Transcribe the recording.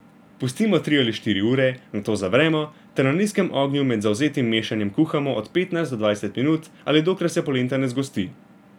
Pustimo tri ali štiri ure, nato zavremo ter na nizkem ognju med zavzetim mešanjem kuhamo od petnajst do dvajset minut ali dokler se polenta ne zgosti.